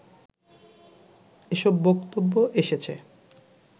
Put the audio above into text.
এসব বক্তব্য এসেছে